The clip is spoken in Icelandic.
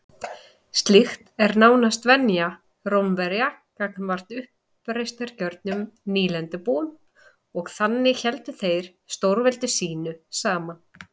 Slíkt var nánast venja Rómverja gagnvart uppreisnargjörnum nýlendubúum og þannig héldu þeir stórveldi sínu saman.